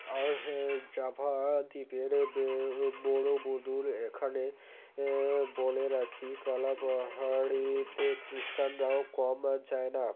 আর হ্যাঁ জাভা দ্বীপের ব্য বড়ো বধূর এখানে আআ বলে রাখি কালাপাহাড়িতে খৃষ্ঠানরাও কম যায়না